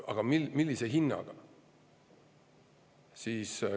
Aga millise hinnaga?